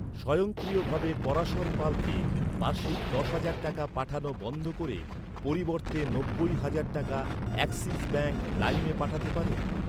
স্বয়ংক্রিয়ভাবে পরাশর পালকে বার্ষিক দশ হাজার টাকা পাঠানো বন্ধ করে পরিবর্তে নব্বই হাজার টাকা অ্যাক্সিস ব্যাঙ্ক লাইমে পাঠাতে পারেন?